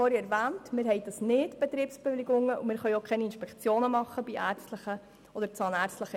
Wir kennen bei ärztlichen oder zahnärztlichen Institutionen keine Betriebsbewilligung und können auch keine Inspektionen vornehmen.